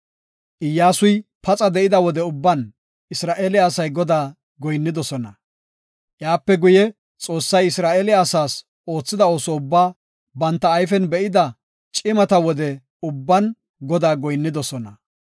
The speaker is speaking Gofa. Iyyasuy paxa de7ida wode ubban Isra7eele asay Godaa goyinnidosona. Iyape guye, Xoossay Isra7eele asaas oothida ooso ubbaa banta ayfen be7ida cimata wode ubban Godaa goyinnidosona.